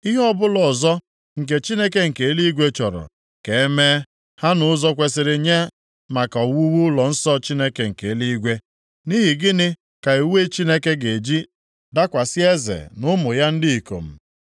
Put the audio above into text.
Ihe ọbụla ọzọ, nke Chineke nke eluigwe chọrọ, ka e mee ha nʼụzọ kwesiri nye maka owuwu ụlọnsọ Chineke nke eluigwe. Nʼihi gịnị ka iwe Chineke ga-eji dakwasị eze na ụmụ ya ndị ikom?